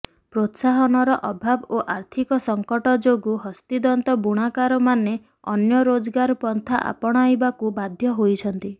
ପ୍ରୋତ୍ସାହନର ଅଭାବ ଓ ଆର୍ଥିକ ସଙ୍କଟ ଯୋଗୁଁ ହସ୍ତିତନ୍ତ ବୁଣାକାରମାନେ ଅନ୍ୟ ରୋଜଗାର ପନ୍ଥା ଅପଣାଇବାକୁ ବାଧ୍ୟ ହେଉଛନ୍ତି